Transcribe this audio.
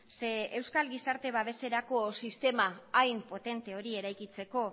zeren euskal gizarte babeserako sistema hain potente hori eraikitzeko